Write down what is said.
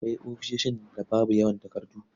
Akwai ofisoshin da babu yawan takardu.